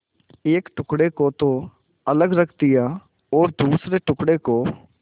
एक टुकड़े को तो अलग रख दिया और दूसरे टुकड़े को